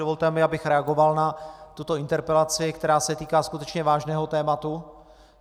Dovolte mi, abych reagoval na tuto interpelaci, která se týká skutečně vážného tématu.